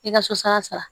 I ka susa sara